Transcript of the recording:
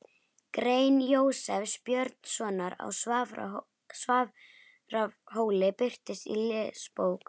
Grein Jósefs Björnssonar á Svarfhóli birtist í Lesbók